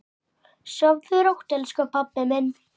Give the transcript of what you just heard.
Sofðu rótt elsku pabbi minn.